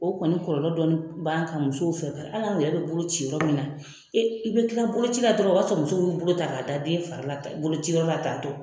O kɔni kɔlɔlɔ dɔɔni b'an kan musow fɛ hali an yɛrɛ bɛ bolo ci yɔrɔ min na i bɛ kila boloci la dɔrɔn o y'a sɔrɔ muso dɔ ye bolo ta k'a da den fari la tan boloci yɔrɔ la tan